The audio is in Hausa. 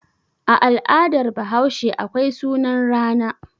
A al'adar Bahaushe akwai sunan rana.